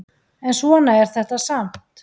En svona er þetta samt.